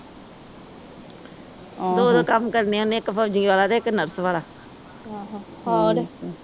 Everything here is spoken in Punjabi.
ਦੋ ਦੋ ਕੰਮ ਕਰਨੇ ਉਹਨੇ ਇੱਕ ਫੌਜੀ ਵਾਲਾ ਤੇ ਇੱਕ ਨਰਸ ਵਾਲਾ